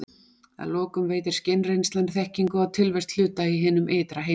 Að lokum veitir skynreynslan þekkingu á tilvist hluta í hinum ytra heimi.